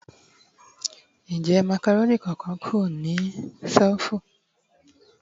Njẹ macaroni kan-kan ku ni selifu?